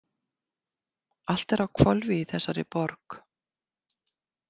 Allt er á hvolfi í þessari borg.